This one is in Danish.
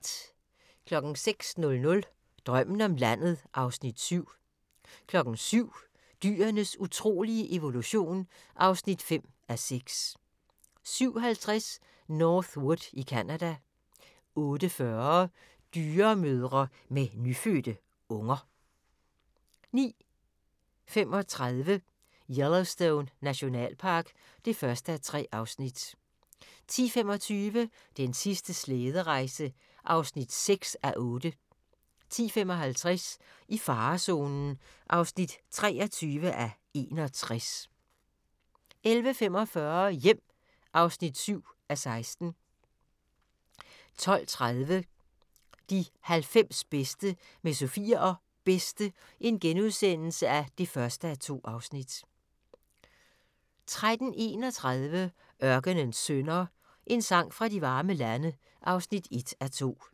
06:00: Drømmen om landet (Afs. 7) 07:00: Dyrenes utrolige evolution (5:6) 07:50: North Wood i Canada 08:40: Dyremødre med nyfødte unger 09:35: Yellowstone Nationalpark (1:3) 10:25: Den sidste slæderejse (6:8) 10:55: I farezonen (23:61) 11:45: Hjem (7:16) 12:30: De 90 bedste med Sofie og Bedste (1:2)* 13:31: Ørkenens Sønner – En sang fra de varme lande (1:2)